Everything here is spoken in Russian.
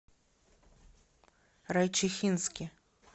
райчихинске